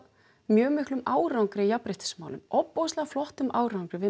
mjög miklum árangri í jafnréttismálum ofboðslega flottum árangri við